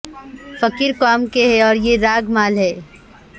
فقیر قوم کے ہیں اور یہ راگ مالا ہے